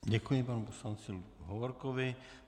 Děkuji panu poslanci Hovorkovi.